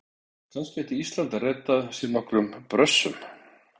Kannski ætti Ísland að redda sér nokkrum Brössum?